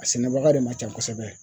A sɛnɛbaga de man ca kosɛbɛ